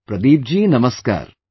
Pradeep ji Namaskar